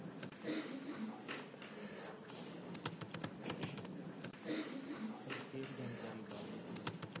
ਸੰਖੇਪ ਜਾਣਕਾਰੀ ਬਾਲ budget ਬਾਰੇ।